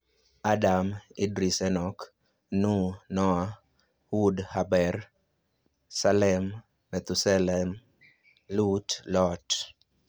Adam, Idris (Enoch), Nuh (Noah), Hud (Heber), Saleh (Methusaleh), Lut (Lot).